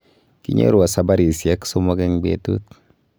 Kinyorwo sabarisyek sosom eng betut